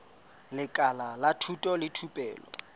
lekala la thuto le thupelo